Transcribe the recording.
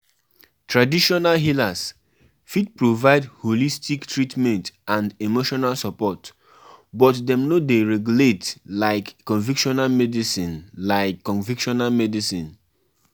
To plan festival persin need draw di budget and de open to receive sponsors